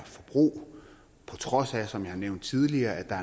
forbrug på trods af som jeg har nævnt tidligere at der